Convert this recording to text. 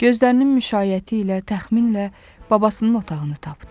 Gözlərinin müşaiyəti ilə təxminlə babasının otağını tapdı.